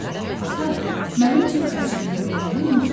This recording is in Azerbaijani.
Ata, mənim cib xərcliyimi verməyi unutdun.